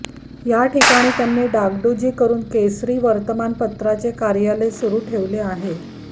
याठिकाणी त्यांनी डागडुजी करून केसरी वर्तमानपत्राचे कार्यालय सुरू ठेवले आहे